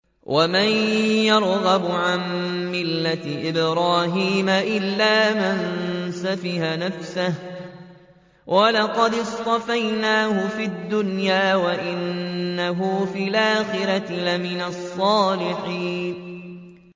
وَمَن يَرْغَبُ عَن مِّلَّةِ إِبْرَاهِيمَ إِلَّا مَن سَفِهَ نَفْسَهُ ۚ وَلَقَدِ اصْطَفَيْنَاهُ فِي الدُّنْيَا ۖ وَإِنَّهُ فِي الْآخِرَةِ لَمِنَ الصَّالِحِينَ